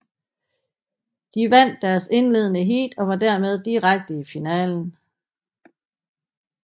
De vandt deres indledende heat og var dermed direkte i finalen